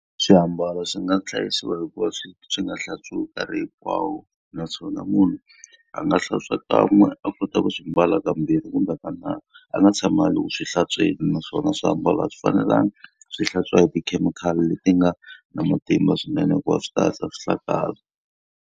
Swiambalo swi nga hlayisiwa hi ku va swi swi nga hlantswiwi nkarhi hinkwawo, naswona munhu a nga hlantswa kan'we a kota ku swi mbala kambirhi kumbe kanharhu. A nga tshami a ri ku swi hlantsweni. Naswona swiambalo a swi fanelanga swi hlantswiwa hi tikhemikhali leti nga na matimba swinene hikuva swi ta hatlisa swi hlakala.